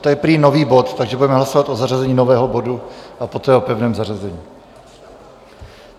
To je prý nový bod, takže budeme hlasovat o zařazení nového bodu a poté o pevném zařazení.